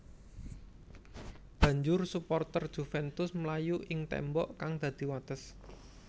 Banjur suporter Juventus mlayu ing témbok kang dadi wates